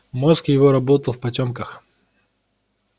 мозг его работал в потёмках